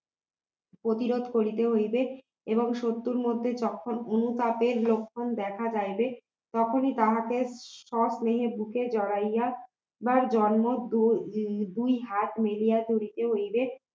প্রতিরোধ করিতে হইবে এবং শত্রুর মধ্যে যখন অনুতাপের লক্ষণ দেখা যাইবে তখনই তাহাকে সব মেনে বুকে জড়াইয়া বা জন্ম দুই দুই হাত মিলিয়া তুলিতে হইবে